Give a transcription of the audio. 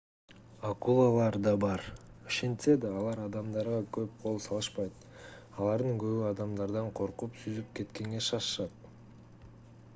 акулалар да бар ошентсе да алар адамдарга көп кол салышпайт алардын көбү адамдардан коркуп сүзүп кеткенге шашышат